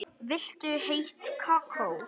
Viltu heitt kakó?